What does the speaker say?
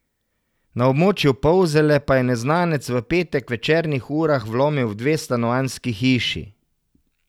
Na območju Polzele pa je neznanec v petek v večernih urah vlomil v dve stanovanjski hiši.